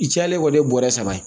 I cayalen kɔni ye bɔrɛ saba ye